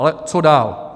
Ale co dál?